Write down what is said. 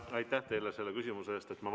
Aitäh teile selle küsimuse eest!